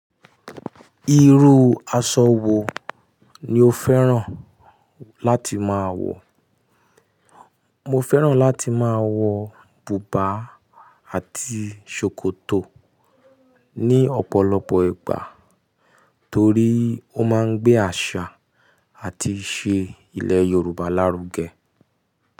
Irú aṣọ wo ni o fẹ́ràn láti máa wọ̀? Mo fẹ́ràn láti máa wọ bùbá àti ṣòkòtò ní ọ̀pọ̀lọpọ̀ ìgbà torí ó máa ń gbé àṣà àti ìṣe ilẹ̀ Yorùbá lárugẹ.